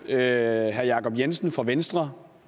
herre jacob jensen fra venstre